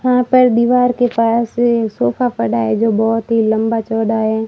हां पर दीवार के पास से सोफा पड़ा है जो बहोत ही लंबा चौड़ा है।